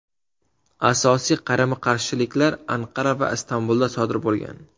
Asosiy qarama-qarshiliklar Anqara va Istanbulda sodir bo‘lgan.